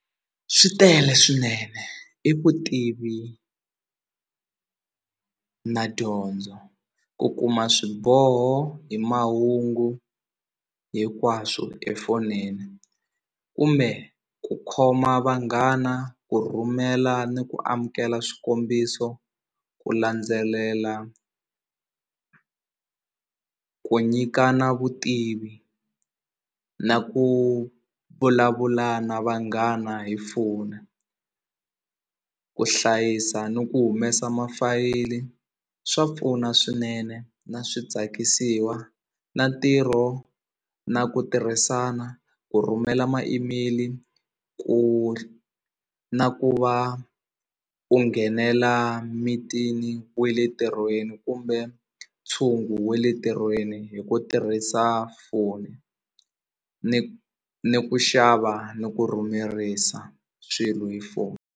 Swi tele swinene i vutivi na dyondzo ku kuma swiboho hi mahungu hinkwaswo efonini kumbe ku khoma vanghana ku rhumela ni ku amukela swikombiso ku landzelela ku nyikana vutivi na ku vulavula na vanghana hi phone ku hlayisa ni ku humesa swa pfuna swinene na swi tsakisiwa na ntirho na ku tirhisana ku rhumela ma-email ku na ku va u nghenela mithini we le ntirhweni kumbe ntshungu we le ntirhweni hi ku tirhisa foni ni ku xava ni ku rhumerisa swilo hi foni.